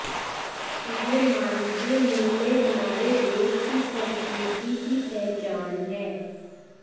ये मानवीय मूल्य हमारे देश की संस्कृति की पहचान हैं